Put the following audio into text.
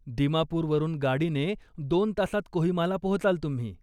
दिमापुरवरून, गाडीने दोन तासात कोहिमाला पोहोचाल तुम्ही.